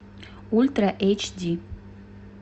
ультра эйч ди